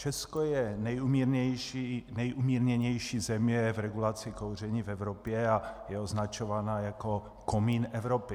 Česko je nejumírněnější země v regulaci kouření v Evropě a je označováno jako komín Evropy.